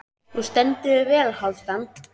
Þú stendur þig vel, Hálfdán!